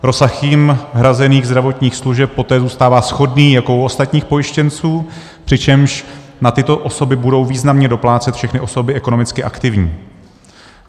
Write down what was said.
Rozsah jim hrazených zdravotních služeb poté zůstává shodný jako u ostatních pojištěnců, přičemž na tyto osoby budou významně doplácet všechny osoby ekonomicky aktivní.